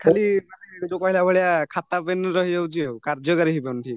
ଖାଲି ମାନେ ଯୋଉ କହିଲା ଭଳିଆ ଖାତାପେନ ରହିଯାଉଚିଆଉ କାର୍ଯ୍ୟକାରୀ ହେଇପାରୁନି